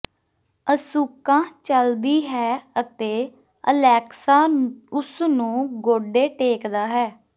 Asuka ਚਲਦੀ ਹੈ ਅਤੇ ਅਲੈਕਸਾ ਉਸ ਨੂੰ ਗੋਡੇ ਟੇਕਦਾ ਹੈ